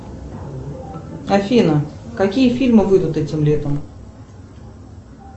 афина какие фильмы выйдут этим летом